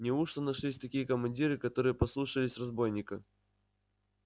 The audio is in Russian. неужто нашлись такие командиры которые послушались разбойника